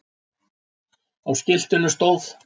Á skiltinu stóð